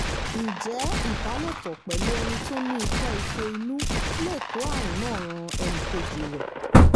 ǹjẹ́ ìbálòpọ̀ pẹ̀lú ẹni tó ní ikọ́-ife inú lè kó àrùn náà ran ẹnì kejì rẹ̀?